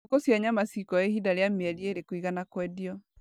Ngũkũ cia nyama cikuoya ihinda rĩa mĩeri ĩrĩ kũigana kwendio.